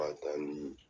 K'a ta ni